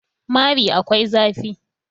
mari akwai zafi